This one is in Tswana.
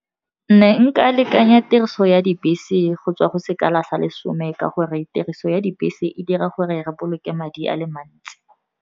Ne nka lekanya tiriso ya dibese go tswa go sekala sa lesome, ka gore tiriso ya dibese e dira gore re boloke madi a le mantsi.